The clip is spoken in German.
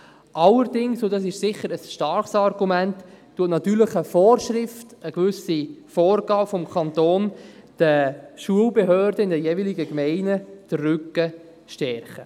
Allerdings – und dies ist sicher ein starkes Argument – stärkt natürlich eine Vorschrift, eine gewisse Vorgabe des Kantons, den Schulbehörden in den jeweiligen Gemeinden den Rücken.